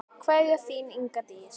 Kveðja, þín, Inga Dís.